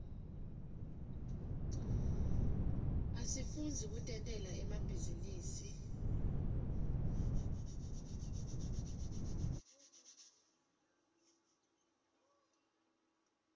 asifundzi kutentela emabhizinisi